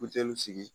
Buteliw sigi